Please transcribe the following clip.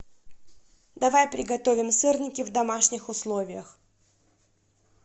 давай приготовим сырники в домашних условиях